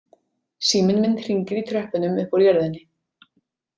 Síminn minn hringir í tröppunum upp úr jörðinni.